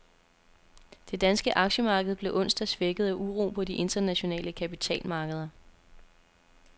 Det danske aktiemarked blev onsdag svækket af uro på de internationale kapitalmarkeder.